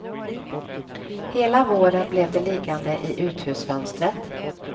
Hela våren blev de liggande i uthusfönstret.